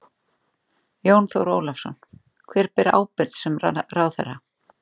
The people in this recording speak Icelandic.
Jón Þór Ólafsson: Hver ber ábyrgð sem ráðherra?